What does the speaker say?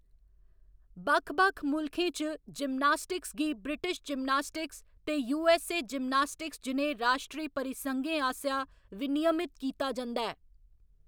बक्ख बक्ख मुल्खें च, जिमनास्टिक्स गी ब्रिटिश जिमनास्टिक्स ते यूऐस्सए जिमनास्टिक्स जनेह् राश्ट्री परिसंघें आसेआ विनियमित कीता जंदा ऐ।